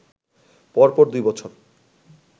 পরপর দুই বছর